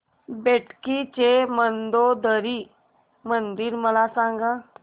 बेटकी चे मंदोदरी मंदिर मला सांग